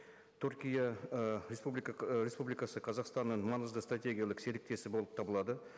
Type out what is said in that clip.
түркия ы республика ы республикасы қазақстанның маңызды стратегиялық серіктесі болып табылады